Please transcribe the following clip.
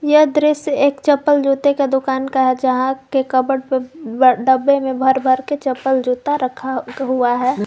यह दृश्य एक चप्पल जूते का दुकान का है जहां के कवर्ड पे डब्बे में भर भर के चप्पल जूता रखा हुआ है।